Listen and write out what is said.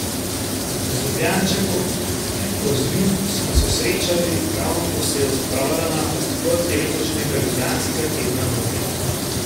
Z Ljubljančanko Piko Zrim smo se srečali, ravno ko se je odpravljala na odprtje letošnjega ljubljanskega tedna mode.